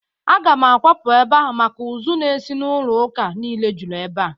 Aga m akwapụ ebe a maka ụzụ n'esi n'ụlọ ụka niile jụrụ ebe a.